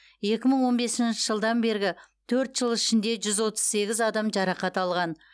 екі мың он бесінші жылдан бергі төрт жыл ішінде жүз отыз сегіз адам жарақат алған